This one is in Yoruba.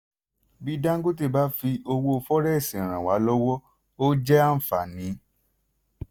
bí dangote bá fi owó fọrẹ́ẹ́sì ràn wá lọ́wọ́ ó jẹ́ àǹfààní.